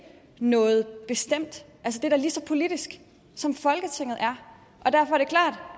noget bestemt det er da lige så politisk som folketinget er og derfor